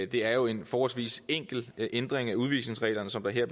det er jo en forholdsvis enkel ændring af udvisningsreglerne som der